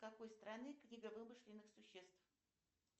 какой страны книга вымышленных существ